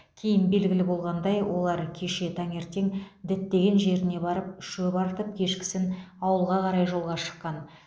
кейін белгілі болғандай олар кеше таңертең діттеген жеріне барып шөп артып кешкісін ауылға қарай жолға шыққан